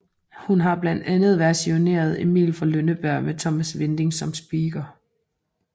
Hun har blandt andet versioneret Emil fra Lønneberg med Thomas Winding som speaker